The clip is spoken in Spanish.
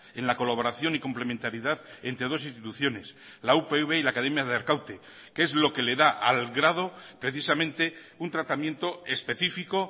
en la colaboración y complementariedad entre dos instituciones la upv y la academia de arkaute que es lo que le da al grado precisamente un tratamiento específico